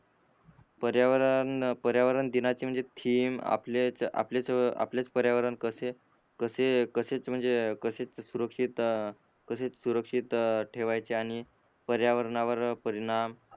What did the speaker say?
पर्यावरण पर्यावरण दिनाचे म्हणजे थिम आपलेच आपलेच पर्यावरण कसे कसे कसेच म्हणजे कसेच सुरक्षित अ कसेच सुरक्षित अ ठेवायचे आणि पर्यावरणावर परिणाम